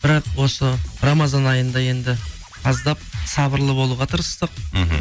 бірақ осы рамазан айында енді аздап сабырлы болуға тырыстық мхм